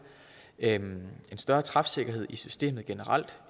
en større træfsikkerhed i systemet generelt